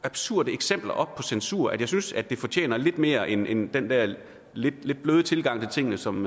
absurde eksempler op på censur at jeg synes det fortjener lidt mere end end den der lidt bløde tilgang til tingene som